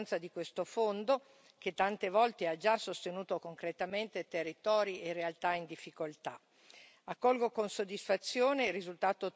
Per questi motivi, voglio ricordare l'importanza di questo fondo, che tante volte ha già sostenuto concretamente territori e realtà in difficoltà.